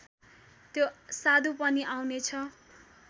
त्यो साधु पनि आउनेछ